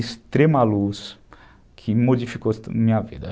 extrema luz que modificou minha vida.